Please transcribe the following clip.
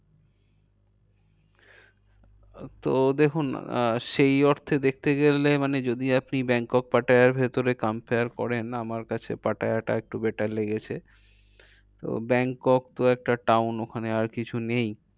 আহ তো দেখুন আহ সেই অর্থে দেখতে গেলে মানে যদি আপনি ব্যাংকক পাটায়ার ভিতরে compare করেন। আমার কাছে পাটায়াটা একটু better লেগেছে। তো ব্যাংকক তো একটা town ওখানে আর কিছু নেই।